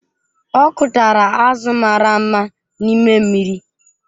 Ọ kụtara azụ̀ mara mma n’ime mmiri.